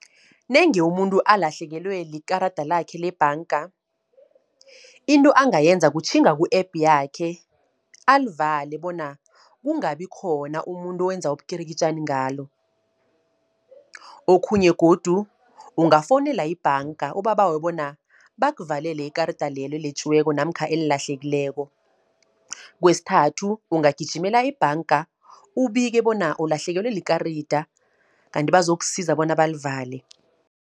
Nange umuntu alahlekelwe likarada lakhe lebhanga. Into angayenza kutjhinga ku-app yakhe alivale, bona kungabi khona umuntu owenza ubukirikitjani ngalo. Okhunye godu ungafowunela ibhanga, ubabawe bona bakuvalele ikarada lelo eletjiweko, namkha elilahlekileko. Kwesithathu ungagijimela ebhanga ubike bona ulahlekelwe likarada, kanti bazokusiza bona balivale.